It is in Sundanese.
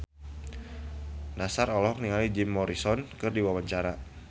Nassar olohok ningali Jim Morrison keur diwawancara